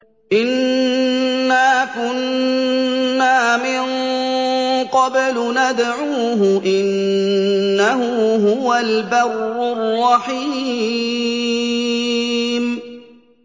إِنَّا كُنَّا مِن قَبْلُ نَدْعُوهُ ۖ إِنَّهُ هُوَ الْبَرُّ الرَّحِيمُ